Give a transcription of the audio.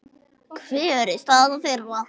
Hver er staða þeirra?